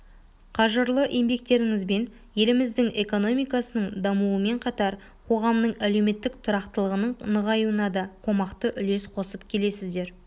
қажырлы еңбектерiңiзбен елiмiздiң экономикасының дамуымен қатар қоғамның әлеуметтiк тұрақтылығының нығаюына да қомақты үлес қосып келесiздер